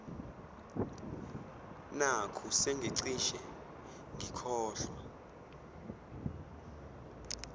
nakhu sengicishe ngikhohlwa